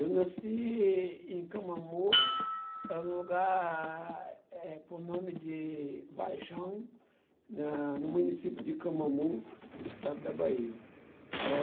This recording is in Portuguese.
Eu nasci em em Camamu, é um lugar, eh, por nome de Vajão, na no município de Camamu, estado da Bahia. É...